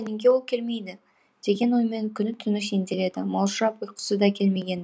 неге ол келмейді деген оймен күні түні сенделеді маужырап ұйқысы да келмеген